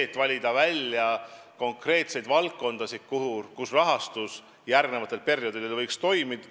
On valitud välja konkreetseid valdkondasid, mida võiks järgmistel perioodidel eriti rahastada.